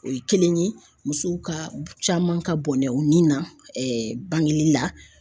O ye kelen ye musow ka caman ka bɔnɛ u ni na ɛɛ bangeli la.